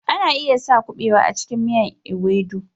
Ana iya sa na kubewa a cikin miyan " ewedu